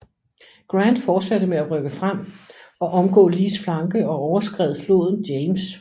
Grant fortsatte med at rykke frem og omgå Lees flanke og overskred floden James